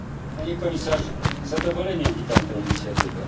Panie Komisarzu! Z zadowoleniem witam tę inicjatywę.